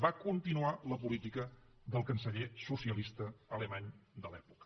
va continuar la política del canceller socialista alemany de l’època